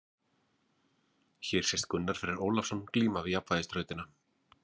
Hér sést Gunnar Freyr Ólafsson glíma við jafnvægisþrautina.